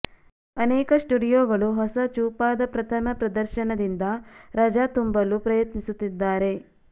ಅನೇಕ ಸ್ಟುಡಿಯೋಗಳು ಹೊಸ ಚೂಪಾದ ಪ್ರಥಮ ಪ್ರದರ್ಶನದಿಂದ ರಜಾ ತುಂಬಲು ಪ್ರಯತ್ನಿಸುತ್ತಿದ್ದಾರೆ